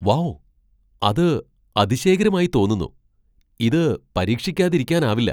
Wow, അത് അതിശയകരമായി തോന്നുന്നു! ഇത് പരീക്ഷിക്കാതിരിക്കാനാവില്ല.